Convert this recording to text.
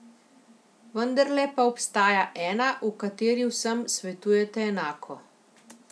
Vendarle pa obstaja ena, v kateri vsem svetujete enako.